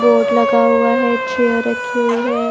Board लगा हुआ है चेयर रखी हुई है।